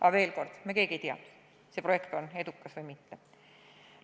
Aga veel kord: me keegi ei tea, kas see projekt osutub edukaks või mitte.